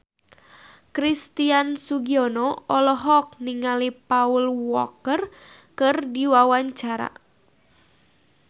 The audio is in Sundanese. Christian Sugiono olohok ningali Paul Walker keur diwawancara